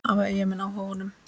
Hafa Eyjamenn áhuga á honum?